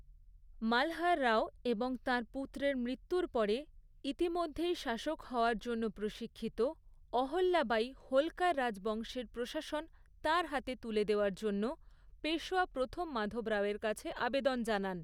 মালহার রাও এবং তাঁর পুত্রের মৃত্যুর পরে ইতিমধ্যেই শাসক হওয়ার জন্য প্রশিক্ষিত অহল্যাবাঈ হোলকার রাজবংশের প্রশাসন তাঁর হাতে তুলে দেওয়ার জন্য পেশওয়া প্রথম মাধব রাওয়ের কাছে আবেদন জানান।